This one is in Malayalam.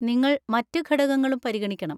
നിങ്ങൾ മറ്റ് ഘടകങ്ങളും പരിഗണിക്കണം